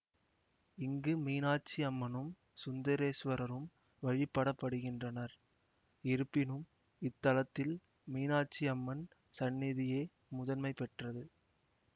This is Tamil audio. இங்கு மீனாட்சி அம்மனும் சுந்தரேசுவரரும் வழிபடப்படுகின்றனர் இருப்பினும் இத்தலத்தில் மீனாட்சி அம்மன் சந்நிதியே முதன்மை பெற்றது